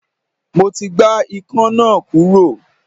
Mo ti gbá Ikan náà kúrò.